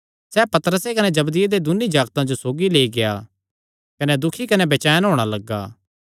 सैह़ पतरसे कने जबदिये दे दून्नी जागतां जो सौगी लेई गेआ कने दुखी कने बेचैन होणा लग्गा